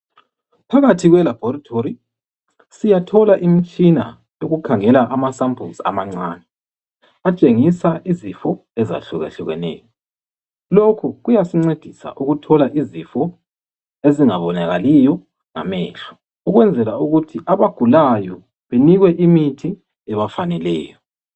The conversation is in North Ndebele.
Phakathi kwelabhorithori siyathola imitshina yokukhangela amasampulisi amancane atshengisa izifo ezehlukehlukeneyo lokhu kuyasincedisa ukuthola izifo ezingabonakaliyo ngamehlo ukwenzela ukuthi abagulayo banikwe imithi ebafaneleyo.